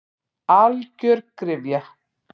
Algjör gryfja.